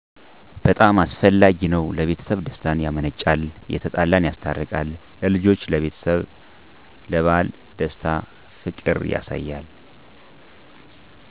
በጣም አስፈላጊ ነዉ ለቤተሰብ ደስታን ያመነጫል የተጣላን ያስታርቃል ለልጆች ለቤተሰብ ስለበዓል ደስታ ፍቅር ያሳያል።